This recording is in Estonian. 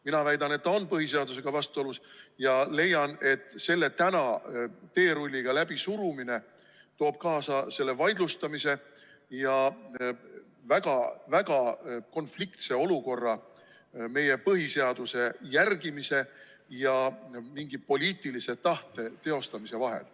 Mina väidan, et see on põhiseadusega vastuolus ja täna selle teerulliga läbisurumine toob kaasa selle vaidlustamise ja väga konfliktse olukorra meie põhiseaduse järgimise ja mingi poliitilise tahte teostamise vahel.